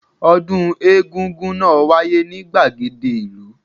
Ọdún egún-gún náà wáyé ní gbàgede ìlú